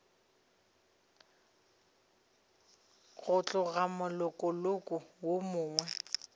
go tloga molokong wo mongwe